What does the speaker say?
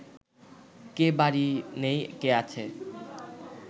কে বাড়ি নেই, কে আছে